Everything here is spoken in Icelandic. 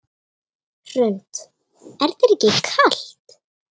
Hrund: Er þér ekki kalt?